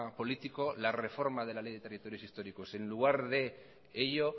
político la reforma de la ley de territorios históricos y en lugar de ello